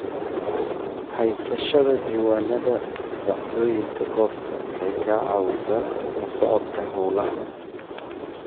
Haysashada diiwaannada dhacdooyinka goobta waxay ka caawisaa la socodka hawlaha.